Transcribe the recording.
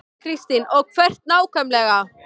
Kristín: Og hvert nákvæmlega?